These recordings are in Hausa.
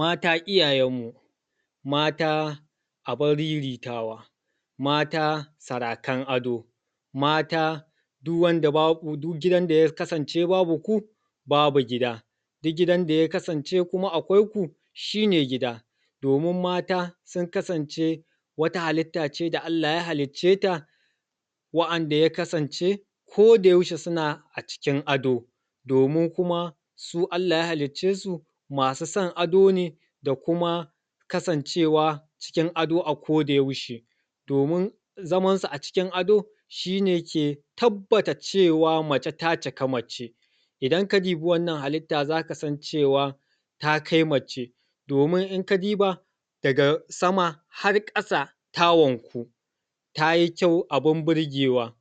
Mata iyayen mu, mata abun riritawa, mata sarakan ado, mata duk gidan da ya kasance babu ku, babu gida. Duk gidan da ya kasance kuma akwai ku shine gida, domin mata sun kasance wata halitta ce da Allah ya halicce ta wa’anda ya kasance koda yaushe suna a cikin ado domin kuma su Allah ya halicce su masu son ado ne da kuma kasncewa cikin ado a koda yaushe. Domin zamansu a cikin ado, shine ke tabbata cewa mace ta cika mace. Idan ka dubi wannan halitta za ka san cewa ta kai mace domin in ka duba daga sama har ƙasa ta wanku ta yi kyau abun burgewa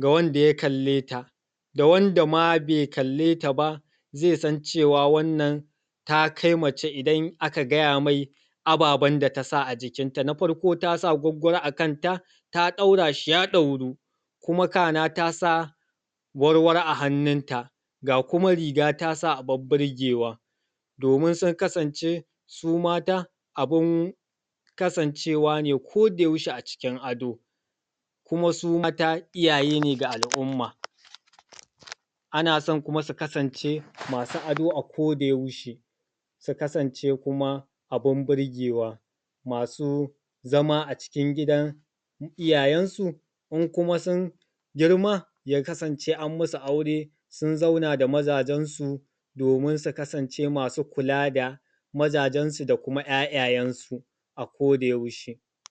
ga wanda ya kale, ta da wanda ma bai kalleta ba zai san cewa wannan ta kai mace idan aka gaya mai ababen da ta sa a jikinta. Na farko ta sa gwaggwaro a kanta, ta ɗaura shi ya ɗauru. Kuma kana ta sa warwaro a hannunta ga kuma riga ta sa abun burgewa domin sun kasance su mata abun ksancewa ne ko da yaushe a cikin ado kuma su mata iyaye ne ga al’umma. Ana kuma son su kasance masu ado a koda yaushe su kasance kuma abun burgewa masu zama a cikin gidan iyayensu in kuma sun girma ya kasance an masu aure sun zauna da mazajensu domin su kasance masu kula da mazajensu da kuma ‘ya’yayensu a koda yaushe.